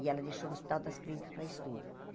E ela deixou no Hospital das Clínicas para estudo.